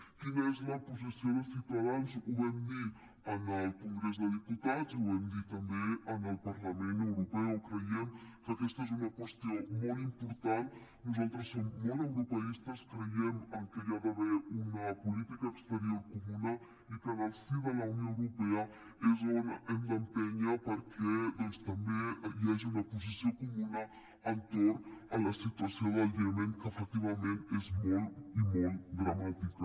quina és la posició de ciutadans ho vam dir en el congrés dels diputats i ho vam dir també en el parlament europeu creiem que aquesta és una qüestió molt important nosaltres som molt europeistes creiem que hi ha d’haver una política exterior comuna i que en el si de la unió europea és on hem d’empènyer perquè doncs també hi hagi una posició comuna entorn de la situació del iemen que efectivament és molt i molt dramàtica